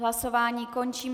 Hlasování končím.